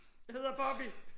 Jeg hedder Bobby!